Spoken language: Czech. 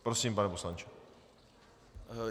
Prosím, pane poslanče.